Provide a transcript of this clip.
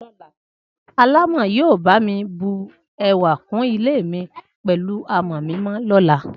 Alámọ̀ yóò bá mi bù ẹwà kún ilé mi pẹ̀lú àmọ̀ mímọ lọ́la.